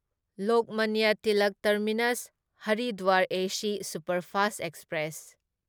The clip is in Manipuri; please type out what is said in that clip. Lokmanya Tilak terminus Haridwar AC superfast express